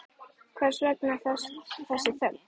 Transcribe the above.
Hvers vegna þessi þögn?